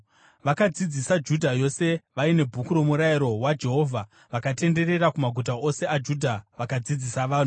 Vakadzidzisa Judha yose vaine Bhuku roMurayiro waJehovha; vakatenderera kumaguta ose aJudha vakadzidzisa vanhu.